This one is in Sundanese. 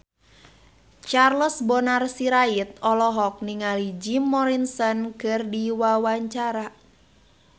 Charles Bonar Sirait olohok ningali Jim Morrison keur diwawancara